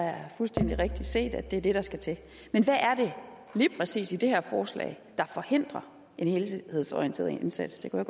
er fuldstændig rigtig set at det er det der skal til men hvad er det lige præcis i det her forslag der forhindrer en helhedsorienteret indsats det kunne